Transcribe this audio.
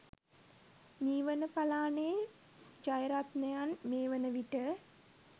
මීවන පලානේ ජයරත්නයන් මේ වනවිට